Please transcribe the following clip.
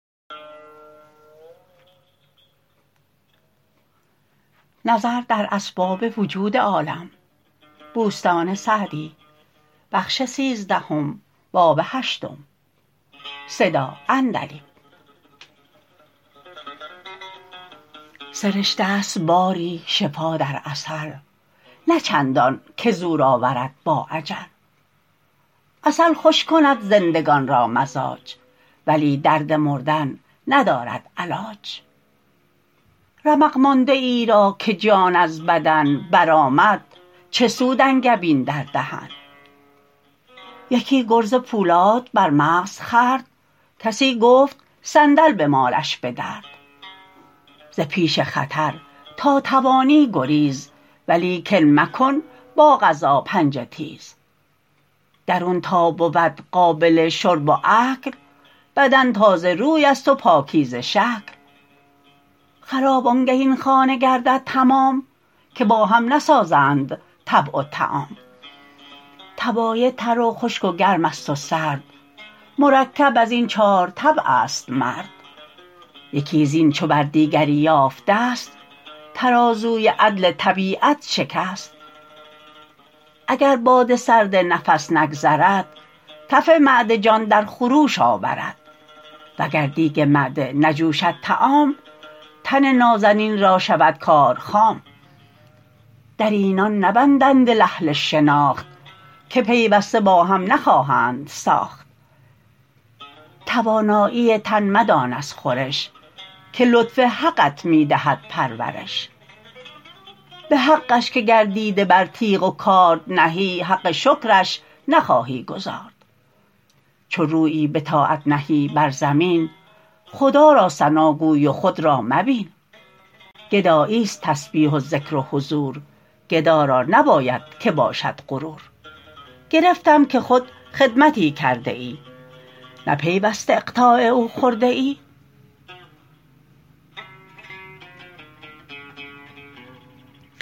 سرشته ست باری شفا در عسل نه چندان که زور آورد با اجل عسل خوش کند زندگان را مزاج ولی درد مردن ندارد علاج رمق مانده ای را که جان از بدن برآمد چه سود انگبین در دهن یکی گرز پولاد بر مغز خورد کسی گفت صندل بمالش به درد ز پیش خطر تا توانی گریز ولیکن مکن با قضا پنجه تیز درون تا بود قابل شرب و اکل بدن تازه روی است و پاکیزه شکل خراب آنگه این خانه گردد تمام که با هم نسازند طبع و طعام طبایع تر و خشک و گرم است و سرد مرکب از این چار طبع است مرد یکی زین چو بر دیگری یافت دست ترازوی عدل طبیعت شکست اگر باد سرد نفس نگذرد تف معده جان در خروش آورد وگر دیگ معده نجوشد طعام تن نازنین را شود کار خام در اینان نبندد دل اهل شناخت که پیوسته با هم نخواهند ساخت توانایی تن مدان از خورش که لطف حقت می دهد پرورش به حقش که گر دیده بر تیغ و کارد نهی حق شکرش نخواهی گزارد چو رویی به طاعت نهی بر زمین خدا را ثناگوی و خود را مبین گدایی است تسبیح و ذکر و حضور گدا را نباید که باشد غرور گرفتم که خود خدمتی کرده ای نه پیوسته اقطاع او خورده ای